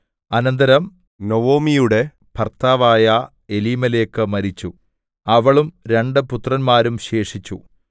അനന്തരം നൊവൊമിയുടെ ഭർത്താവായ എലീമേലെക്ക് മരിച്ചു അവളും രണ്ടു പുത്രന്മാരും ശേഷിച്ചു